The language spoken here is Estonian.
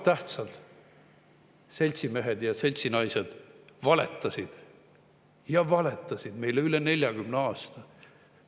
Tähtsad seltsimehed ja seltsinaised valetasid, ja valetasid meile üle 40 aasta.